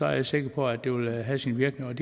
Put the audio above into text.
jeg sikker på at det vil have sin virkning